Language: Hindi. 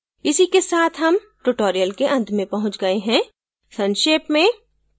इसी के साथ हम tutorial के अंत में पहुँच गए हैं संक्षेप में